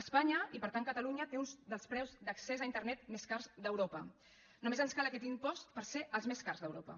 espanya i per tant catalunya té un dels preus d’accés a internet més cars d’europa només ens cal aquest impost per ser els més cars d’europa